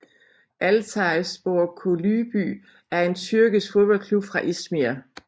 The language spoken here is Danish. Altay Spor Kulübü er en tyrkisk fodboldklub fra İzmir